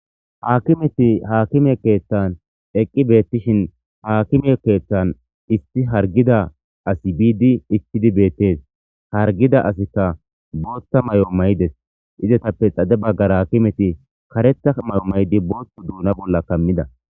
Akimeyi akime keththanni eqqi betishshin haa akime keththanni issi hariggiza asi bidi ichchidi betees ha hariggiza assikka boththa mayo mayides.izzetappe xade bagara akimetti kareththa mayo mayidd boththu duna bolla kammida .